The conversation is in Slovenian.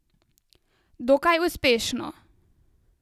Dokaj uspešno.